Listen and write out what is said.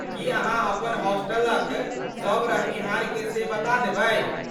की अहाँ अपन हॉस्टलक सभ रहनिहार के से बता देबै ?